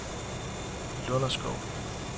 Lunderskov